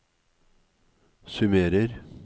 summerer